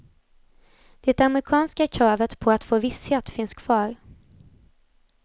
Det amerikanska kravet på att få visshet finns kvar.